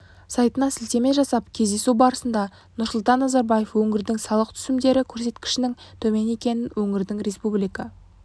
сайтына сілтеме жасап кездесу барысында нұрсұлтан назарбаев өңірдің салық түсімдері көрсеткішінің төмен екенін өңірдің республика